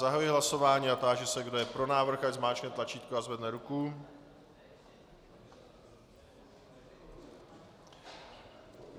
Zahajuji hlasování a táži se, kdo je pro návrh, ať zmáčkne tlačítko a zvedne ruku.